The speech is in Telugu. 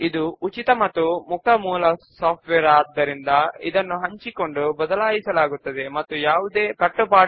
మరియు ప్రతి ఒక్క సభ్యునికి కేవలము అతను ఇంకా రిటర్న్ చేయని బుక్స్ ను మాత్రమే ఎలా చూస్తాము